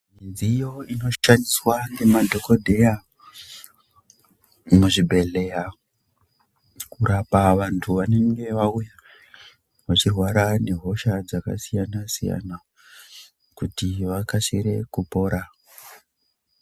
Midziyo inoshandiswa ngemadhokodheya muzvibhedhlera kurapa vantu vanenge vauya vachirwara nehosha dzakasiyana siyana kuti vakasike kupora